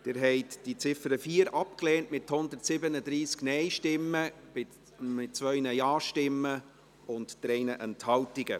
Sie haben die Ziffer 4 abgelehnt, mit 2 Ja- und 137 Nein-Stimmen bei 3 Enthaltungen.